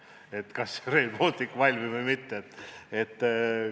– ja vaadata, kas Rail Baltic valmib või mitte?